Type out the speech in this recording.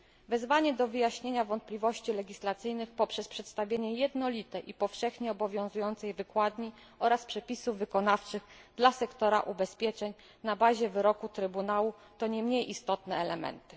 Wezwanie do wyjaśnienia wątpliwości legislacyjnych poprzez przedstawienie jednolitej i powszechnie obowiązującej wykładni oraz przepisów wykonawczych dla sektora ubezpieczeń na bazie wyroku Trybunału to nie mniej istotny elementy.